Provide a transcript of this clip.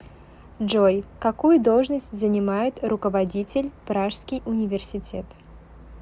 джой какую должность занимает руководитель пражский университет